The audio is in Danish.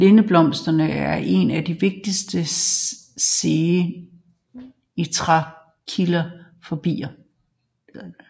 Lindeblomsterne er én af de vigtigste sene trækkilder for bierne